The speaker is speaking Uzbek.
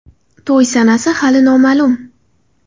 To‘y sanasi hali noma’lum.